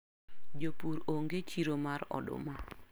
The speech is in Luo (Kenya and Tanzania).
Jopur onge chiro mar oduma.